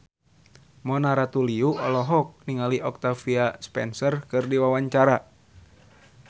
Mona Ratuliu olohok ningali Octavia Spencer keur diwawancara